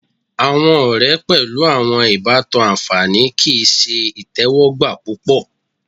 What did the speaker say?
Awọn ọrẹ pẹlu awọn ibatan anfani kii ṣe itẹwọgba pupọ